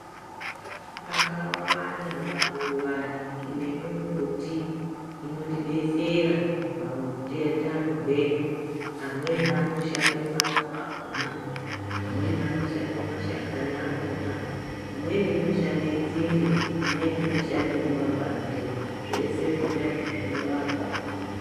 Akawanda maruwa nemumbuti, inotidetsera paute utano hwedu. Amweni anoshande maruwa akhona, amweni anoshande mashakani akhona, imweni inoshande nzinde, imweni inoshandewo mapande. Zvese zvona izvozvo zvinorapa.